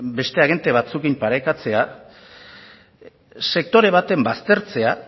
beste agente batzuekin parekatzea sektore baten baztertzea